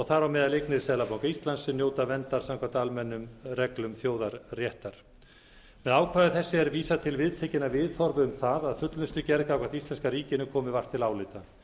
þar á meðal eignir seðlabanka íslands sem njóta verndar samkvæmt almennum reglum þjóða réttar með ákvæði þessu er vísað til viðtekinna viðhorfa um það að fullnustugerð gagnvart íslenska ríkinu komi vart til álita